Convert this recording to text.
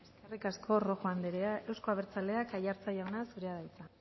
eskerrik asko rojo anderea euzko abertzaleak aiartza jauna zurea da hitza